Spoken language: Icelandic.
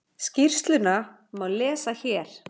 Skýrsluna má lesa hér